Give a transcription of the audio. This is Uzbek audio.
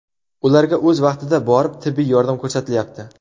Ularga o‘z vaqtida borib tibbiy yordam ko‘rsatilyapti.